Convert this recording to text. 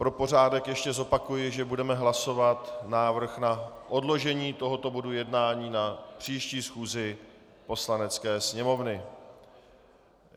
Pro pořádek ještě zopakuji, že budeme hlasovat návrh na odložení tohoto bodu jednání na příští schůzi Poslanecké sněmovny.